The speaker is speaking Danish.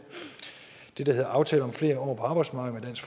den der hedder aftale om flere år på arbejdsmarkedet